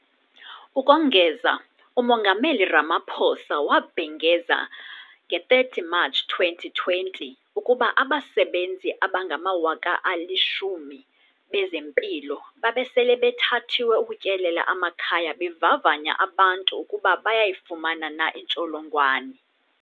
Ukongeza, uMongameli Ramaphosa wabhengeza nge-30 Matshi 2020 ukuba abasebenzi abangama-10 000 bezempilo babe sele bethathiwe ukutyelela amakhaya bevavanya abantu ukuba bayayifumana na intsholongwane.